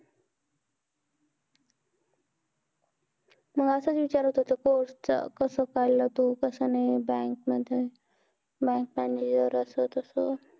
मग असाच विचारत होतो post च कस कळलं तू कस नाही bank मध्ये bank manager असं तस